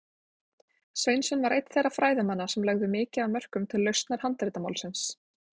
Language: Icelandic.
Sveinsson var einn þeirra fræðimanna sem lögðu mikið af mörkum til lausnar handritamálsins.